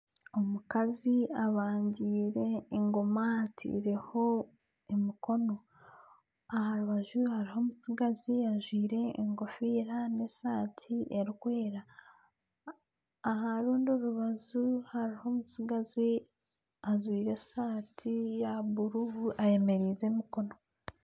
Omukazi abangiire engoma ataireho omukono, aha rubaju hariho omutsigazi ajwire engofiira na esaati erikwera. Aha rundi rubaju hariho omutsigazi ajwire esaati ya bururu ayemereize emikono.